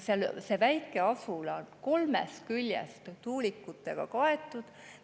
See väike asula on kolmest küljest tuulikutega.